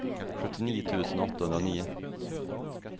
sjuttionio tusen åttahundranio